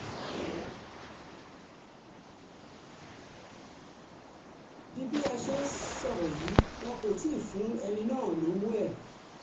di bí a ṣe ń sọ̀rọ̀ yìí wọn kò tí ì fún ẹni náà lọ́wọ́ ẹ̀